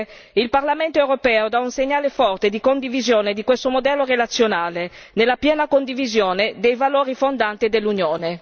Con questo voto, signor Presidente, il Parlamento europeo dà un segnale forte di condivisione di questo modello relazionale nella piena condivisione dei valori fondanti dell'Unione.